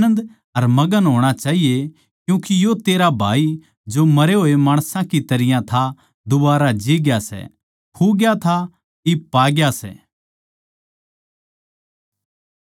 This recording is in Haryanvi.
पर इब आनन्द अर मगन होणा चाहिये क्यूँके यो तेरा भाई जो मरे होए माणसां की तरियां था दुबारा जी ग्या सै खुग्या था इब पाग्या सै